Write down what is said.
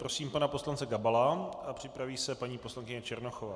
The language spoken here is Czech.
Prosím pana poslance Gabala a připraví se paní poslankyně Černochová.